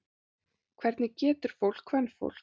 Hvernig getur fólk. kvenfólk.